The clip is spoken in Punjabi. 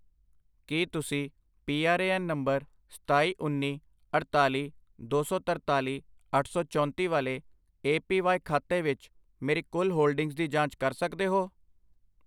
ਕੀ ਤੁਸੀਂ P R A N number ਸਤਾਈ, ਉੱਨੀ, ਅੜਤਾਲੀ, ਦੋ ਸੌ ਤਰਤਾਲੀ, ਅੱਠ ਸੌ ਚੌਂਤੀ ਵਾਲੇ ਏ ਪੀ ਵਾਈ ਖਾਤੇ ਵਿੱਚ ਮੇਰੀ ਕੁੱਲ ਹੋਲਡਿੰਗਜ਼ ਦੀ ਜਾਂਚ ਕਰ ਸਕਦੇ ਹੋ